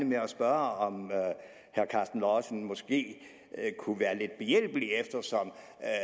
med at spørge om herre karsten lauritzen måske kunne være lidt behjælpelig eftersom